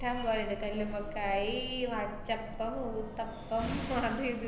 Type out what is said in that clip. ~ഷ്ടം പോലൊണ്ട് കല്ലുമ്മക്കായി, അച്ചപ്പം, ഊത്തപ്പം അത് ഇത്